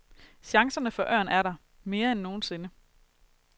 Chancerne for ørn er der, mere end nogensinde.